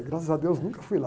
Graças a deus, nunca fui lá.